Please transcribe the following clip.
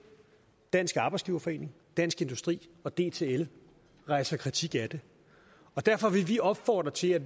dansk arbejdsgiverforening dansk industri og dtl rejser kritik af det derfor vil vi opfordre til at